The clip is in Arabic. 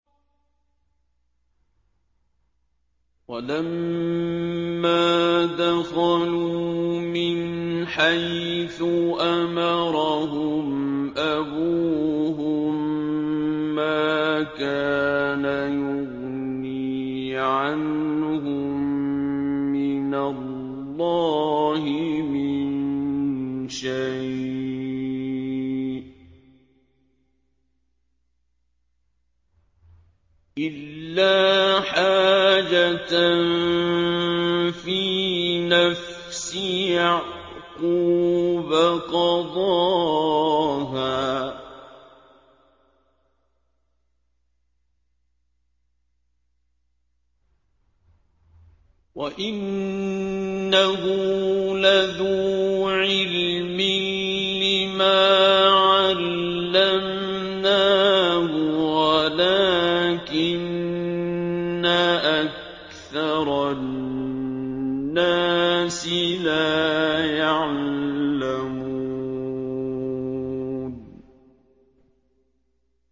وَلَمَّا دَخَلُوا مِنْ حَيْثُ أَمَرَهُمْ أَبُوهُم مَّا كَانَ يُغْنِي عَنْهُم مِّنَ اللَّهِ مِن شَيْءٍ إِلَّا حَاجَةً فِي نَفْسِ يَعْقُوبَ قَضَاهَا ۚ وَإِنَّهُ لَذُو عِلْمٍ لِّمَا عَلَّمْنَاهُ وَلَٰكِنَّ أَكْثَرَ النَّاسِ لَا يَعْلَمُونَ